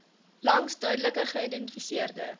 langs duidelik geïdentifiseerde